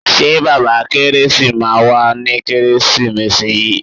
Ṣé bàbá kẹ́résì máa wá ní kẹ́résìmesì yìí.